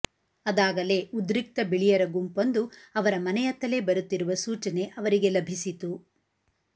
ಅದಾಗಲೇ ಉದ್ರಿಕ್ತ ಬಿಳಿಯರ ಗುಂಪೊಂದು ಅವರ ಮನೆಯತ್ತಲೇ ಬರುತ್ತಿರುವ ಸೂಚನೆ ಅವರಿಗೆ ಲಭಿಸಿತು